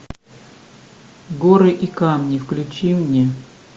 горы и камни включи мне